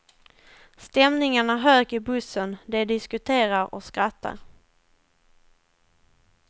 Stämningen är hög i bussen, de diskuterar och skrattar.